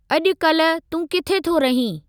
अॼुकल्ह तूं किथे थो रहीं ?